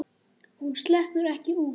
Hún sleppur ekki út.